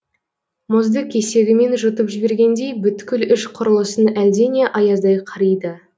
мұзды кесегімен жұтып жібергендей бүткіл іш құрылысын әлдене аяздай қариды